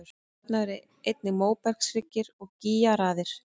Þarna eru einnig móbergshryggir og gígaraðir.